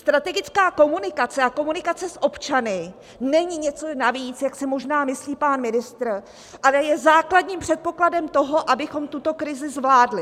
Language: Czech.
Strategická komunikace a komunikace s občany není něco navíc, jak si možná myslí pan ministr, ale je základním předpokladem toho, abychom tuto krizi zvládli.